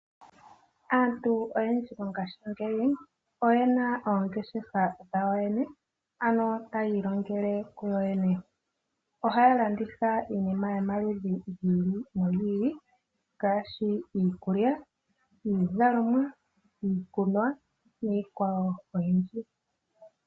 Aantu oyendji mo ngaashi ngeyi oyena oongeshefa dhawo yene, ano tayiilongele yo yene, ohalanditha iinima yomaludhi giili ngaashi iikulya, iizalomwa niikwawo oyindji.